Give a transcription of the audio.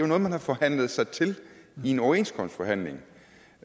noget man har forhandlet sig til i en overenskomstforhandling